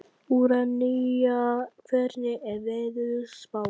Úranía, hvernig er veðurspáin?